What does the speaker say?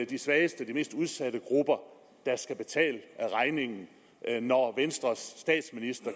de svageste de mest udsatte grupper der skal betale regningen når venstres statsminister